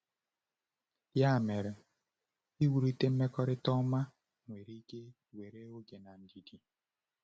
Ya mere, iwulite mmekọrịta ọma nwere ike were oge na ndidi.